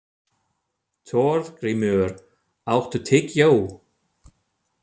Þorgrímur, áttu tyggjó?